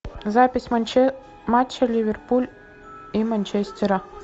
запись матча ливерпуль и манчестера